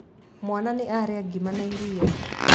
Mwaana nĩ arĩa ngima na iria.